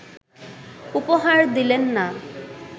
উপহার দিলেন না